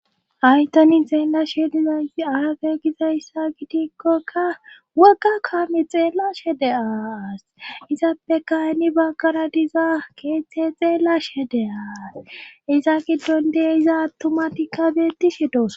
Aytanin zeellashe diza arage gizayssa gitikkokka woga kaami xeella shede aas izappe kaynni baggara diza keeththe xeella shede aas iza giddon deye iza attumatikkabetishe dos